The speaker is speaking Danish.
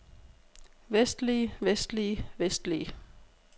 vestlige vestlige vestlige